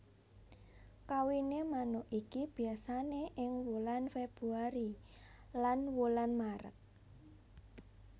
Kawiné manuk iki biasané ing wulan februari lan wulan Méret